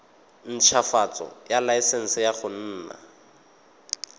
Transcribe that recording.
ntshwafatsa laesense ya go nna